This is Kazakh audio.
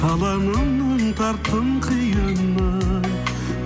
таланымның тарттың қиыны